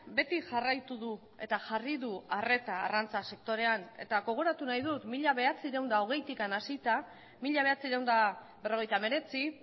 beti jarraitu du eta jarri du arreta arrantza sektorean eta gogoratu nahi dut mila bederatziehun eta hogeitik hasita mila bederatziehun eta berrogeita hemeretzi